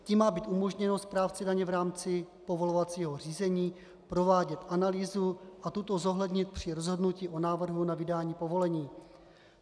Tím má být umožněno správci daně v rámci povolovacího řízení provádět analýzu a tuto zohlednit při rozhodnutí o návrhu na vydání povolení.